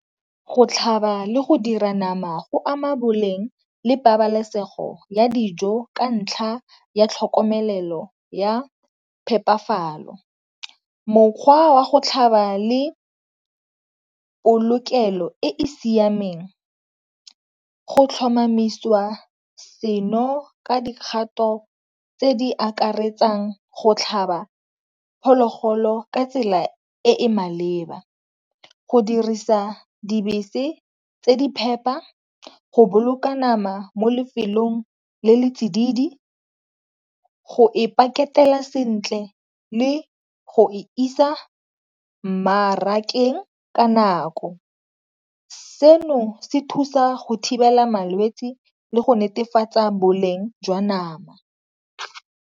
Go tlhaba le go dira nama go ama boleng le pabalesego ya dijo ka ntlha ya tlhokomelelo ya phepafalo. Mokgwa wa go tlhaba le polokelo e e siameng go tlhomamiswa seno ka dikgato tse di akaretsang go tlhaba phologolo ka tsela e e maleba, go dirisa dibese tse di phepa, go boloka nama mo lefelong le le tsididi, go e paketela sentle le go isa mmarakeng ka nako. Seno se thusa go thibela malwetsi le go netefatsa boleng jwa nama.